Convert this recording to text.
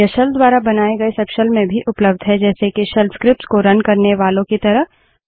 यह शेल द्वारा बनाये गए सबशेल में भी उपलब्ध हैं जैसे के शेल स्क्रिप्ट्स को रन करने वालो की तरह